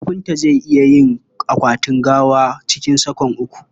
Kafinta zai iya yin akwatin gawa cikin sa'a uku..